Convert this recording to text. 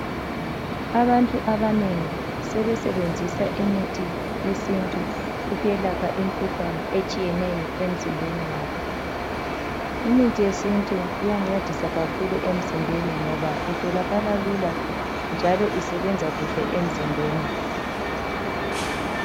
Abantu abanengi sebesebenzisa imithi yesintu ukwelapha imkhuhlane etshiyeneyo emzimbeni yabo. Imithi yesintu iyancedisa kakhulu emzimbeni ngoba itholakaĺa lula njalo isebenza kuhle emzimbeni.